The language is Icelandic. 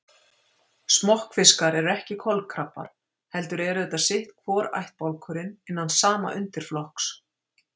Smokkfiskar eru ekki kolkrabbar heldur eru þetta sitt hvor ættbálkurinn innan sama undirflokks.